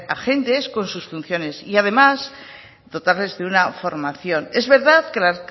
agentes con sus funciones y además dotarles de una formación es verdad que la